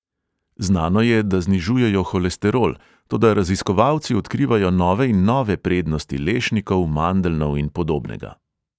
Znano je, da znižujejo holesterol, toda raziskovalci odkrivajo nove in nove prednosti lešnikov, mandeljnov in podobnega.